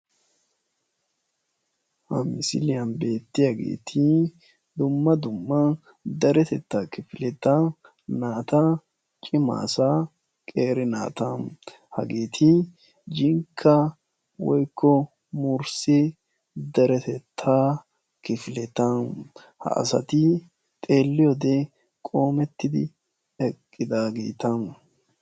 Ha misiliyan beettiyageeti dumma dumma deretetta kifileta naata cima asaa qeeri naata hageeti jinkka woykko murissi deretetta kifileta ha asati xeeliyode qoomettidi eqqidaageeta.